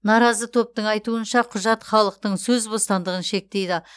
наразы топтың айтуынша құжат халықтың сөз бостандығын шектейді